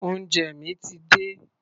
Oúnjẹ mi ti dé.